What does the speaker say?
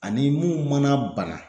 Ani mun mana bana